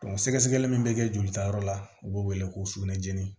sɛgɛsɛgɛli min bɛ kɛ jolitayɔrɔ la u b'o wele ko sukunɛjɛni